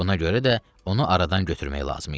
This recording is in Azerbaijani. Buna görə də onu aradan götürmək lazım idi.